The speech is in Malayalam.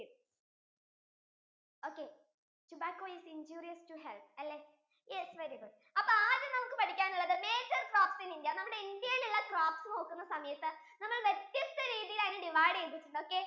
okay tobacco is injurious to health അല്ലെ yes very good അപ്പൊ നമുക്ക് ആദ്യം പഠിക്കാൻ ഉള്ളത് major crops in india നമ്മുടെ ഇന്ത്യ യിൽ ഉള്ള crops നോക്കുന്ന സമയത്തു നമ്മൾ വ്യത്യസ്ത രീതിയിൽ ആണ് divide ചെയ്‌തട്ടുള്ളത് okay